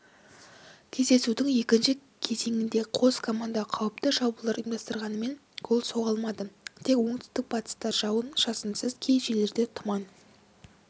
кездесудің екінші кезеңінде қос команда қауіпті шабуылдар ұйымдастырғанмен гол соғылмады тек оңтүстік-батыста жауын-шашынсыз кей жерлерде тұман